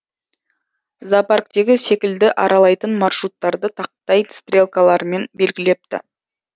зоопарктегі секілді аралайтын маршруттарды тақтай стрелкалармен белгілепті